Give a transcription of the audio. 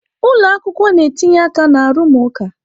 ụlọ akwụkwọ na-etinye aka na arụmụka.